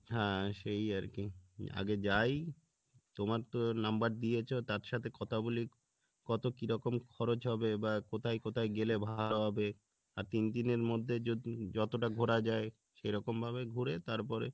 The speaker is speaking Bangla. হ্যাঁ সেই আরকি আগে যাই তোমার তো number দিয়েছো তার সাথে কথা বলি কত কিরকম খরচ হবে বা কোথায় কোথায় গেলে ভালো হবে আর তিন দিনের মধ্যে যত~যতটা ঘোরা যাই সেরকমভাবে ঘুরে তারপরে